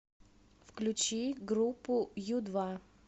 включи группу ю два